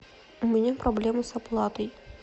у меня проблемы с оплатой